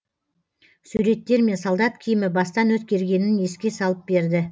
суреттер мен солдат киімі бастан өткергенін еске салып берді